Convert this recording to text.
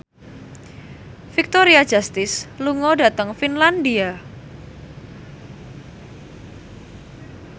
Victoria Justice lunga dhateng Finlandia